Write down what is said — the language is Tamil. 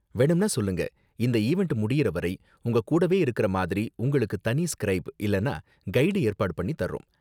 வேணும்னா சொல்லுங்க, இந்த ஈவண்ட் முடியுற வரை உங்க கூடவே இருக்குற மாதிரி உங்களுக்கு தனி ஸ்க்ரைப் இல்லனா கைடு ஏற்பாடு பண்ணி தர்றோம்.